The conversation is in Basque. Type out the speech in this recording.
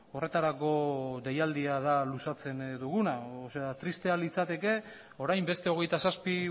horretarako deialdia da luzatzen duguna tristea litzateke orain beste hogeita zazpi